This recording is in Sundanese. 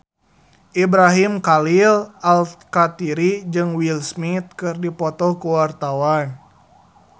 Ibrahim Khalil Alkatiri jeung Will Smith keur dipoto ku wartawan